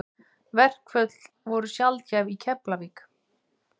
Verkföll voru sjaldgæf í Keflavík.